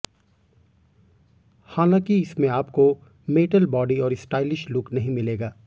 हालांकि इसमें आपको मैटल बॉडी और स्टाइलिश लुक नहीं मिलेगा